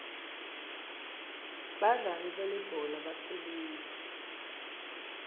badlali belibhola baphilile